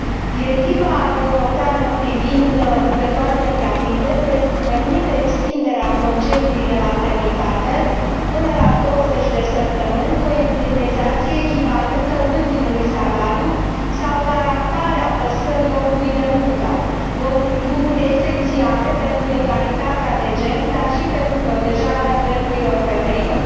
Directiva europeană privind lucrătoarele gravide permite extinderea concediului de maternitate până la douăzeci de săptămâni, cu o indemnizație echivalentă ultimului salariu sau garantarea păstrării locului de muncă, lucruri esențiale pentru egalitatea de gen, dar și pentru protejarea drepturilor femeilor.